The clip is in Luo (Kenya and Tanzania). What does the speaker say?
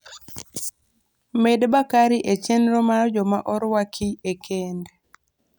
med bakari e chenro mar joma orwaki e kend